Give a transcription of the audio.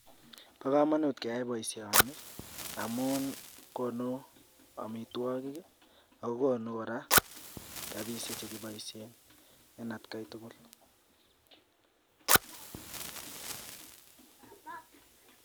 bo kamanut keyai boisioni amu konu amitwogik ako konu korak rabishiek che kiboishien en atkai tugul